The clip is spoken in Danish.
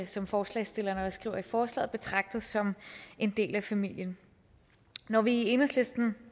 som forslagsstillerne også skriver i forslaget betragtet som en del af familien når vi i enhedslisten